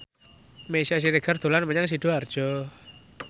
Meisya Siregar dolan menyang Sidoarjo